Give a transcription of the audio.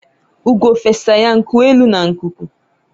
ugo fesa ya nku elu na ikuku